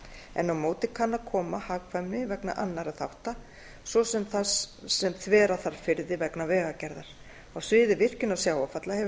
en á móti kann að koma hagkvæmni vegna annarra þátta svo sem þar sem þvera þarf firði vegna vegagerðar á sviði virkjunar sjávarfalla hefur